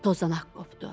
Tozanaq qopdu.